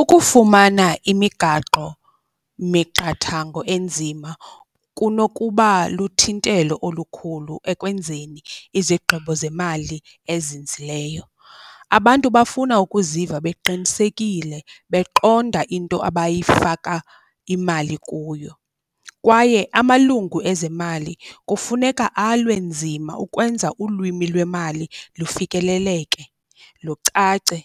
Ukufumana imigaqo miqathango enzima kunokuba luthintelo olukhulu ekwenzeni izigqibo zemali ezinzileyo. Abantu bafuna ukuziva beqinisekile beqonda into abayifaka imali kuyo, kwaye amalungu ezemali kufuneka alwe nzima ukwenza ulwimi lwemali lufikeleleke, lucace